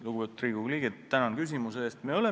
Lugupeetud Riigikogu liige, tänan küsimuse eest!